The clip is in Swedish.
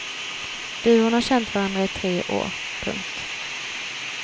Duon har känt varandra i tre år. punkt